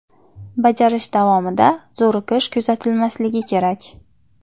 Bajarish davomida zo‘riqish kuzatilmasligi kerak.